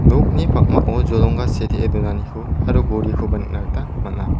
nokni pakmao jolongga setee donaniko aro gorikoba nikna gita man·a.